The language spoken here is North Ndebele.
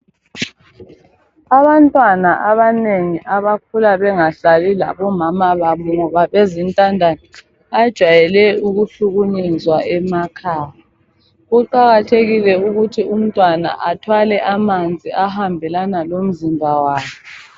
Abantwana abanengi abakhula bengahlali labomama babo ngoba bezintandane bajwayele ukuhlukunyezwa emakhaya kuqakathekile ukuthi umntwana athwale amanzi ahambelana lomzimba wakhe.